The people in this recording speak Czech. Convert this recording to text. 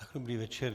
Dobrý večer.